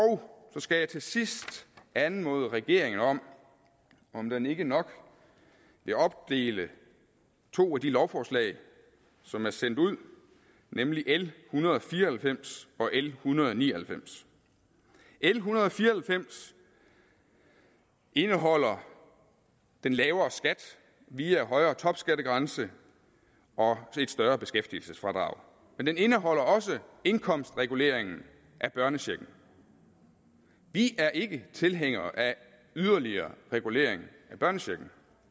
så skal jeg til sidst anmode regeringen om om den ikke nok vil opdele to af de lovforslag som er sendt ud nemlig l en hundrede og fire og halvfems og l en hundrede og ni og halvfems l en hundrede og fire og halvfems indeholder den lavere skat via højere topskattegrænse og et større beskæftigelsesfradrag men den indeholder også indkomstreguleringen af børnechecken vi er ikke tilhængere af yderligere regulering af børnechecken